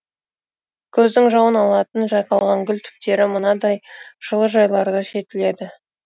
көздің жауын алатын жайқалған гүл түптері мынадай жылыжайларда жетіледі